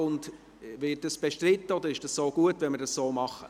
Wird dieses Vorgehen bestritten, oder ist es gut, wenn wir so vorgehen?